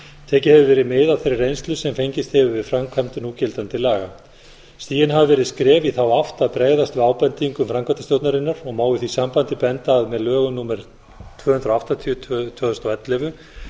tekið hefur verið mið af þeirri reynslu sem fengist hefur við framkvæmd núgildandi laga stigin hafa verið skref í þá átt að bregðast við ábendingum framkvæmdastjórnarinnar og má í því sambandi benda á að með lögum númer tuttugu og átta tvö þúsund og ellefu